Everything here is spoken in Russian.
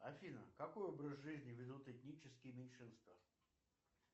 афина какой образ жизни ведут этнические меньшинства